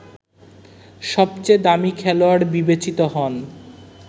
সবচেয়ে দামি খেলোয়াড় বিবেচিত হন